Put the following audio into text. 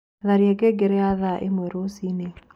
Tharĩa ngengere ya thaaĩmwe rũcĩĩnĩ